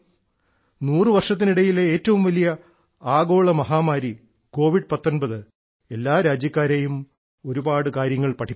നൂറു വർഷത്തിനിടയിലെ ഏറ്റവും വലിയ ആഗോള മഹാമാരി കൊവിഡ്19 എല്ലാ രാജ്യക്കാരെയും ഒരുപാട് കാര്യങ്ങൾ പഠിപ്പിച്ചു